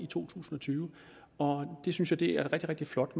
tusind og tyve og det synes et rigtig rigtig flot